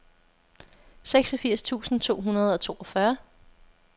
seksogfirs tusind to hundrede og toogfyrre